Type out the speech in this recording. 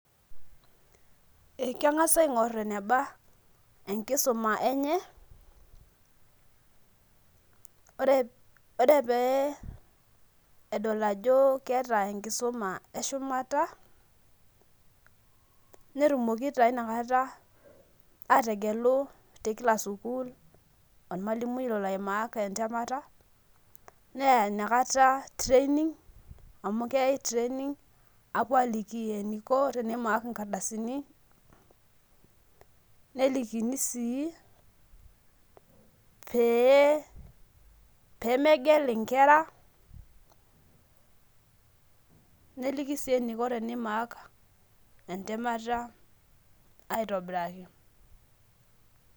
Ekengasa aingor eneba enkisuma enye ore pee pedol ajo keeta enkisuma eshumata netumoki na inakata ategelu tekila sukul ormalimui loloai mark entemata neya inakata training amu keyai training apuo aliki eniko tenimark nkardasini nelikini si pee pemegel nkera neliki si eniko tenimark entemata aitobiraki.